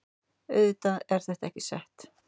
Auðvitað er þetta ekki sett